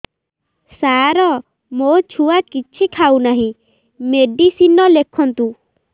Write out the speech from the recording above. ସାର ମୋ ଛୁଆ କିଛି ଖାଉ ନାହିଁ ମେଡିସିନ ଲେଖନ୍ତୁ